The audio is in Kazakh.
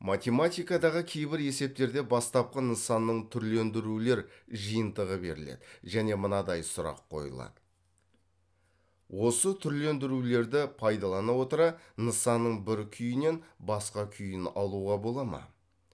математикадағы кейбір есептерде бастапқы нысанның түрлендірулер жиынтығы беріледі және мынадай сұрақ қойылады осы түрлендірулерді пайдалана отыра нысанның бір күйінен басқа күйін алуға бола ма